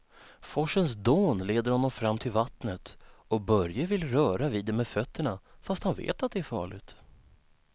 Forsens dån leder honom fram till vattnet och Börje vill röra vid det med fötterna, fast han vet att det är farligt.